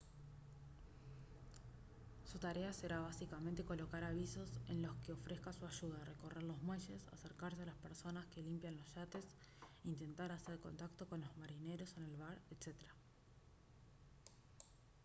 su tarea será básicamente colocar avisos en los que ofrezca su ayuda recorrer los muelles acercarse a las personas que limpian los yates intentar hacer contacto con los marineros en el bar etc